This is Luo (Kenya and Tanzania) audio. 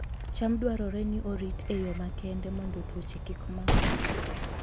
cham dwarore ni orit e yo makende mondo tuoche kik makgi